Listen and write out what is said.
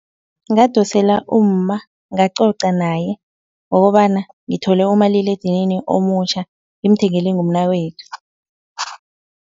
Ngadosela umma ngacoca naye ngokobana ngithole umaliledinini omutjha ngimthengelwe ngumnakwethu.